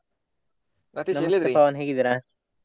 Ratheesh .